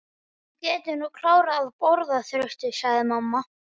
Þú getur nú klárað að borða, Þröstur, sagði mamma.